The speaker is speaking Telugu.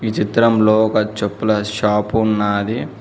ఈ చిత్రంలో ఒక చెప్పుల షాపు ఉన్నాది.